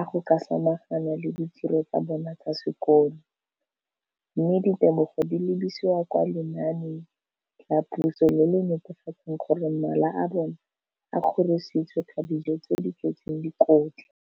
a go ka samagana le ditiro tsa bona tsa sekolo, mme ditebogo di lebisiwa kwa lenaaneng la puso le le netefatsang gore mala a bona a kgorisitswe ka dijo tse di tletseng dikotla.